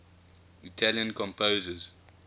italian composers